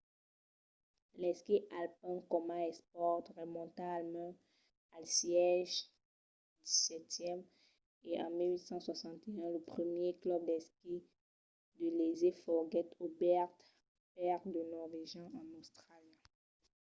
l'esquí alpin coma espòrt remonta almens al sègle xvii e en 1861 lo primièr club d'esquí de léser foguèt obèrt per de norvegians en austràlia